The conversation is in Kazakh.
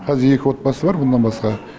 қазір екі отбасы бар бұннан басқа